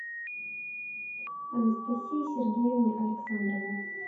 анастасии сергеевне александровой